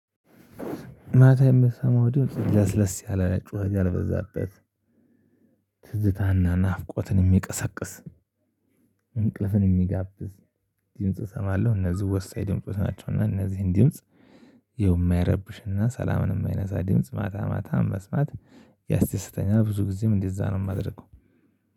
ማታ የምትሰማው ድርጅት ለስለስ ያላ ጩህት ያልበዛበት ትዝታና ናፍቆትን የሚቀሰቅስ እንቅልፍን የሚጋብዝ ድምጽ እሰማለሁ። እነዚህ ወሳኝ ድምጽ ናቸው እና እነዚህን ድምጽ የማይረብሽና ሰላምን የማይነሳ ድምጽ ማታ ማታ መስማት ያስደስተኛል። ብዙ ጊዜም እንደዛ ነው የማደርገው